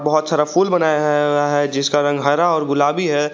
बहोत सारा फूल बनाया है हुआ है जिसका रंग हरा और गुलाबी है।